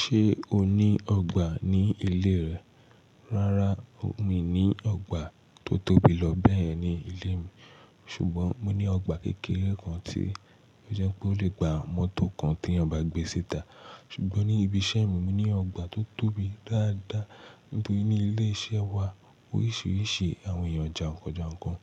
Ṣé o ní ọgbà ní ilé rẹ? Rárá, mi ní ọgbà tó tóbi lọ bẹ́ẹ̀ ní ilé mi. Ṣùgbọ́n mo ní ọgbà kékeré kan tí ó jẹ́ pé ó lè gba mọ́tò kan tí eyan bá gbé síta. Ṣùgbọ́n ní ibi iṣẹ́ mi, mo ní ọgbà tó tóbi dáadáa, nítorí ní ilé iṣẹ́ wa, oríṣiríṣi àwọn èèyàn jàǹkàn jàǹkàn